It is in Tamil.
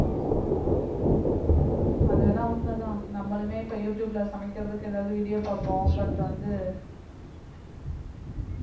அது வேணா உண்மைதான் நம்மளுமே இப்ப யூடுயூப்ல சமைக்கிறதுக்கு ஏதாவது video பாப்போம் but வந்து